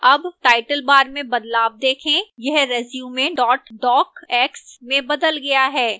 अब title bar में बदलाव देखें यह resume docx में बदल गया है